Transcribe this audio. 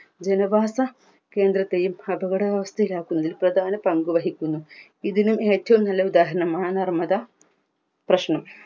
ജനവാസ കേന്ദ്രത്തെയും അപകടാവസ്ഥയിലാക്കുന്ന പ്രധാന പങ്ക് വഹിക്കുന്നു ഇതിന് ഏറ്റവും നല്ല ഉദാഹരണമാണ് നർമ്മദാ പ്രശ്നം